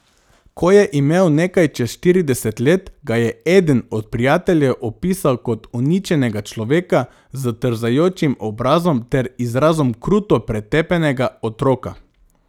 Ko je imel nekaj čez štirideset let, ga je eden od prijateljev opisal kot uničenega človeka s trzajočim obrazom ter izrazom kruto pretepenega otroka.